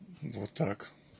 вот так